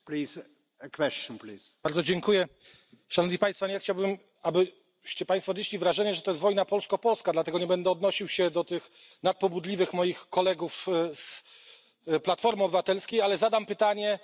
Nie chciałbym, aby Państwo odnieśli wrażenie, że to jest wojna polsko polska, dlatego nie będę odnosił się do tych nadpobudliwych moich kolegów z Platformy Obywatelskiej, ale zadam pytanie wszystkim przedmówcom z innych grup i z innych państw.